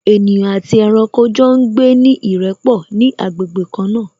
Ènìyàn àti ẹranko jọ ń gbé ní ìrẹ́pọ̀ ní agbègbè kan náà